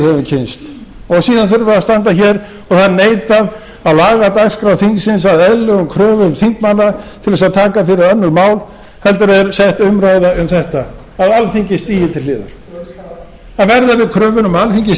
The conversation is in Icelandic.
höfum kynnst og síðan þurfum við að standa hér og það er neitað að laga dagskrá þingsins að eðlilegum kröfum þingmanna til að taka fyrir önnur mál heldur en sett umræða um þetta að alþingi stigi til hliðar hver er krafan að verða við kröfunni um að alþingi stigi